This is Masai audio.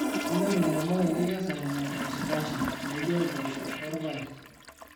Kenyor ilairemok enkikesare napashpasha naijo mposho o paek.